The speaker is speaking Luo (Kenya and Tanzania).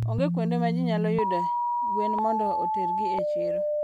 Onge kuonde ma ji nyalo yudee gwen mondo otergi e chiro.